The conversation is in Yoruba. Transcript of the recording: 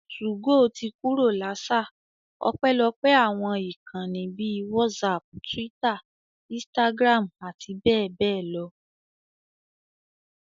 2go ti kúrò l'áṣà, ọpẹ́lọpẹ́ àwọn ìkànnì bíi whatsapp, Twitter, Instagram, àti bẹ́ẹ̀ bẹ́ẹ̀ lọ